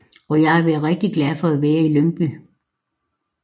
Og jeg har været rigtig glad for at være i Lyngby